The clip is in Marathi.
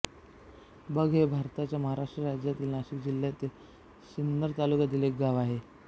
बग हे भारताच्या महाराष्ट्र राज्यातील नाशिक जिल्ह्यातील सिन्नर तालुक्यातील एक गाव आहे